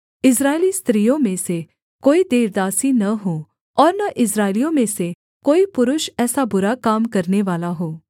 इस्राएली स्त्रियों में से कोई देवदासी न हो और न इस्राएलियों में से कोई पुरुष ऐसा बुरा काम करनेवाला हो